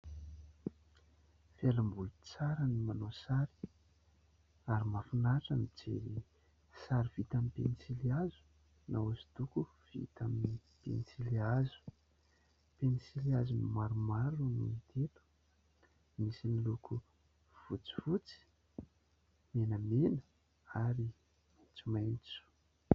Fialamboly tsara ny manao sary ary mahafinaritra ny mijery sary vita amin'ny pensilihazo na hosodoko vita amin'ny pensilihazo. Pensilihazo maromaro no hita eto, misy miloko fotsifotsy, menamena ary maitsomaitso.